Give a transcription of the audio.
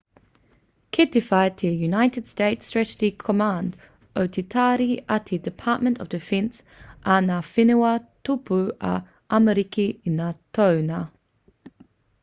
kei te whai te united states strategi command o te tari a te department of defense a ngā whenua tōpū o amerika i ngā toenga